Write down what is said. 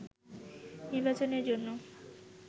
নির্বাচনের জন্য